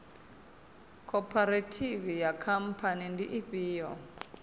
khophorethivi na khamphani ndi ifhio